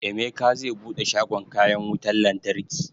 Emeka zai buɗe shagon kayan wutan lantarki